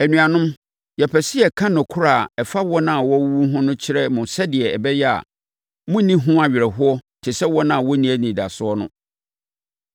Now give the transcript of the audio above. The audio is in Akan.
Anuanom, yɛpɛ sɛ yɛka nokorɛ a ɛfa wɔn a wɔawuwu no ho kyerɛ mo sɛdeɛ ɛbɛyɛ a, morenni ho awerɛhoɔ te sɛ wɔn a wɔnni anidasoɔ no.